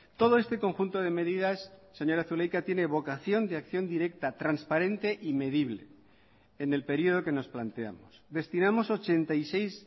todo este conjunto de medidas señora zulaika tiene vocación de acción directa transparente y medible en el periodo que nos planteamos destinamos ochenta y seis